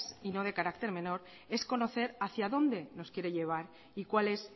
y no de carácter menor es conocer hacia dónde nos quiere llevar y cuál es